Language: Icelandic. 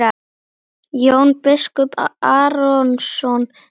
Jón biskup Arason lét undan.